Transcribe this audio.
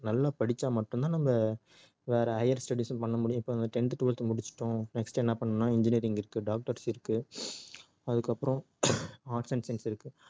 நல்லா படிச்சா மட்டும் தான் நம்ம வேற higher studies உம் பண்ண முடியும் இப்ப வந்து tenth twelveth முடிச்சிட்டோம் next என்ன பண்ணனும்னா engineering இருக்கு doctors இருக்கு அதுக்கு அப்புறம் arts and science இருக்கு